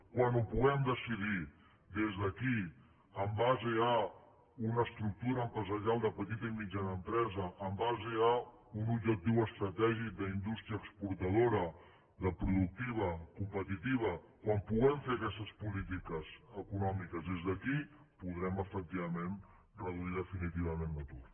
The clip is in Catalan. quan ho puguem decidir des d’aquí en base a una estructura empresarial de petita i mitjana empresa en base a un objectiu estratègic d’indústria exportadora productiva competitiva quan puguem fer aquestes polítiques econòmiques des d’aquí podrem efectivament reduir definitivament l’atur